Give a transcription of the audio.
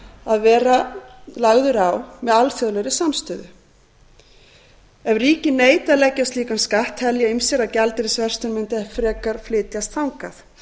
að vera lagður á með alþjóðlegri samstöðu ef ríki neita að leggja á slíkan skatt telja ýmsir að gjaldeyrisverslunin mundi frekar flytjast þangað